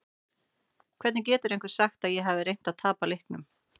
Hvernig getur einhver sagt að ég hafi reynt að tapa leiknum?